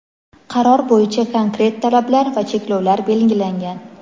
Qaror bo‘yicha konkret talablar va cheklovlar belgilangan.